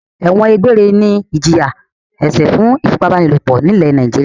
Ẹ̀wọ̀n egbére ni ìjìyà-ẹ̀ṣẹ̀ fún ìfipábánilòpọ̀ nílẹ̀ Nàìjíríà.